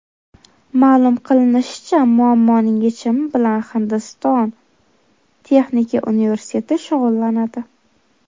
Ma’lum qilinishicha, muammoning yechimi bilan Hindiston texnika universiteti shug‘ullanadi.